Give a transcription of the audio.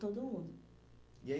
Todo mundo. E aí